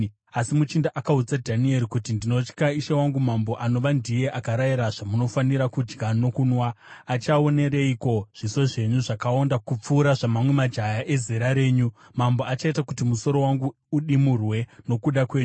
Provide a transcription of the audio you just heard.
asi muchinda akaudza Dhanieri kuti, “Ndinotya ishe wangu mambo, anova ndiye akarayira zvamunofanira kudya nokunwa. Achaonereiko zviso zvenyu zvakaonda kupfuura zvamamwe majaya ezera renyu? Mambo achaita kuti musoro wangu udimurwe nokuda kwenyu.”